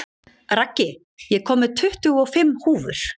Raggi, ég kom með tuttugu og fimm húfur!